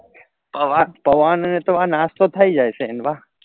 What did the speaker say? પૌઆ પૌઆ ને તમાર નાસ્તો થઇ જાય છે એમ વા